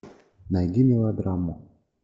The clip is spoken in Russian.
найди мелодраму